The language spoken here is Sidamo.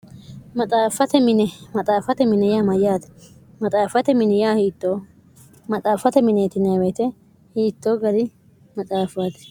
xffimaxaafate mini yaa mayyaati xaft miiy hiitto maxaaffate mineetinweete hiittoo gari maxaafati